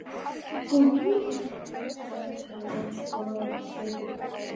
Var hann eins konar klámkóngur í huga þeirra?